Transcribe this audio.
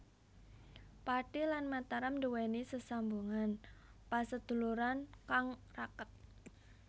Pathi lan Mataram nduweni sesambungan paseduluran kang raket